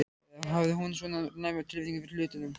Eða hafði hún svona næma tilfinningu fyrir hlutunum?